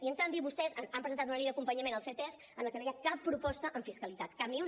i en canvi vostès han presentat una llei d’acompanyament al ctesc en la que no hi ha cap proposta en fiscalitat cap ni una